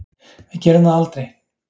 Við gerum það aldrei